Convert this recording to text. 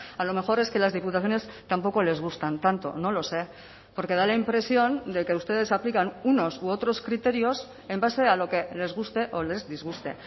a lo mejor es que las diputaciones tampoco les gustan tanto no lo sé porque da la impresión de que ustedes aplican unos u otros criterios en base a lo que les guste o les disguste